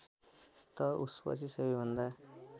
त उसपछि सबैभन्दा